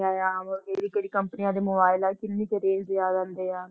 ਕਿਹੜੀ ਕਿਹੜੀ ਕੰਪਨੀਆਂ ਦੇ mobile ਆ ਕਿੰਨੀ ਕੁ range ਦੇ ਆ ਜਾਂਦੇ ਆ।